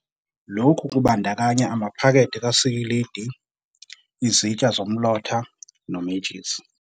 Lokhu kubandakanya amaphakethe kasikilidi, izitsha zomlotha, nomentshisi.